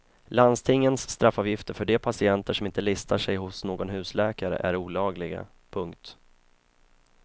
Landstingens straffavgifter för de patienter som inte listar sig hos någon husläkare är olagliga. punkt